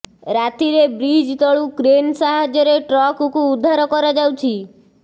ରାତିରେ ବ୍ରିଜ ତଳୁ କ୍ରେନ ସାହାଯ୍ୟରେ ଟ୍ରକକୁ ଉଦ୍ଧାର କରାଯାଉଛି